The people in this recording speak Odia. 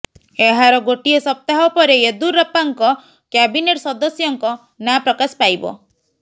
ଏହାର ଗୋଟିଏ ସପ୍ତାହ ପରେ ୟେଦ୍ଦୁରପ୍ପାଙ୍କ କ୍ୟାବିନେଟ୍ ସଦସ୍ୟଙ୍କ ନାଁ ପ୍ରକାଶ ପାଇବ